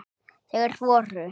Þeir voru